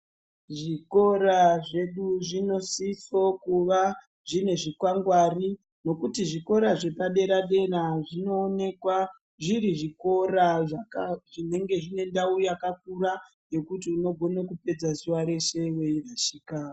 Zvikora zvedu zvinosisa kunge zvine zvikwangwari nekuti zvikora zvepadera dera zvinoonekwa zviri zvikora zvinenge zvinendau yakakura yekuti unogona kupedza zuva rese weyi rashika.